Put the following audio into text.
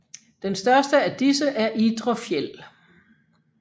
Den største af disse er Idre Fjäll